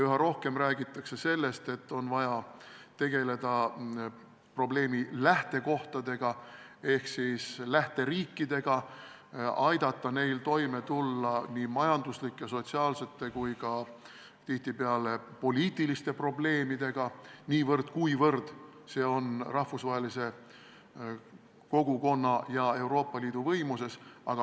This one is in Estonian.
Üha rohkem räägitakse sellest, et on vaja tegeleda probleemi lähtekohtadega ehk siis lähteriikidega, aidata neil toime tulla nii majanduslike, sotsiaalsete kui tihtipeale ka poliitiliste probleemidega – niivõrd, kuivõrd see on rahvusvahelise kogukonna ja Euroopa Liidu võimuses.